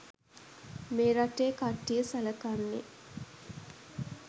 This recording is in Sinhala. මේ රටේ කට්ටිය සලකන්නේ.